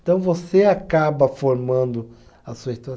Então, você acaba formando a sua história.